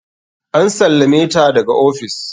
An sallame ta daga ofis.